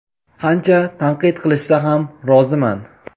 qancha tanqid qilishsa ham roziman.